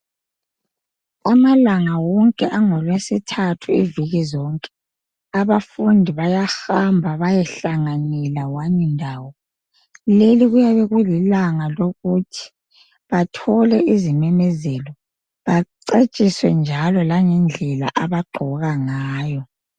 Amalanga wonke angelwesithathu iviki zonke, abafundi bayahamba beyehlanganyela wani ndawo. Leli kuyabe kulilanga lokuthi bathole izimemezelo, bacatshise njalo langeglela abagqoka ngayo.